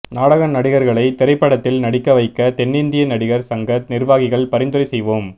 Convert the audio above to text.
நாடக நடிகர்களைத் திரைப்படத்தில் நடிக்க வைக்க தென்னிந்திய நடிகர் சங்க நிர்வாகிகள் பரிந்துரை செய்வோம்